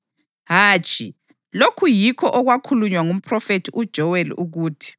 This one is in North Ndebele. Hatshi, lokhu yikho okwakhulunywa ngumphrofethi uJoweli ukuthi: